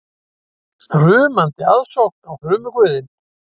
Þrumandi aðsókn á þrumuguðinn